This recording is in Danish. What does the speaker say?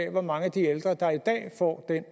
af hvor mange af de ældre der i dag får den